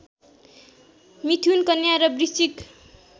मिथुन कन्या र वृश्चिक